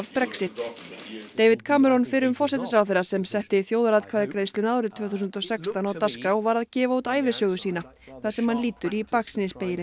Brexit David fyrrum forsætisráðherra sem setti þjóðaratkvæðagreiðsluna árið tvö þúsund og sextán á dagskrá var að gefa út ævisögu sína þar sem hann lítur í baksýnisspegilinn